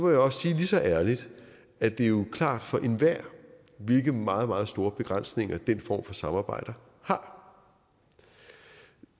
jeg også sige lige så ærligt at det jo er klart for enhver hvilke meget meget store begrænsninger den form for samarbejde har